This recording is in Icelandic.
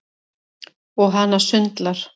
Og hana sundlar.